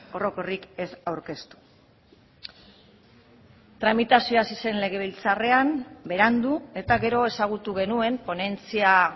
orokorrik ez aurkeztu tramitazioa hasi zen legebiltzarrean berandu eta gero ezagutu genuen ponentzia